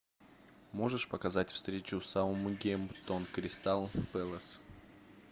можешь показать встречу саутгемптон кристал пэлас